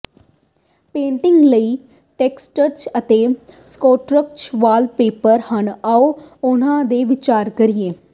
painting ਲਈ texture ਅਤੇ structural wallpaper ਹਨ ਆਓ ਉਨ੍ਹਾਂ ਦੇ ਵਿਚਾਰ ਕਰੀਏ